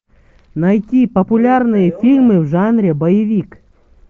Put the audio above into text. найти популярные фильмы в жанре боевик